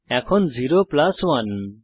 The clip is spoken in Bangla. এখন 0 প্লাস 1